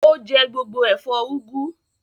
Ó jẹ gbogbo ẹ̀fọ́ úgú.